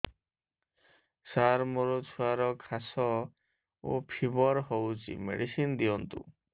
ସାର ମୋର ଛୁଆର ଖାସ ଓ ଫିବର ହଉଚି ମେଡିସିନ ଦିଅନ୍ତୁ